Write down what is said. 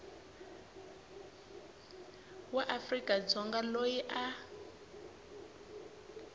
wa afrika dzonga loyi a